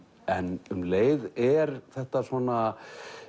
en um leið er þetta svona